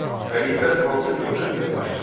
Xəlifə hansı dövlətin başçısı idi?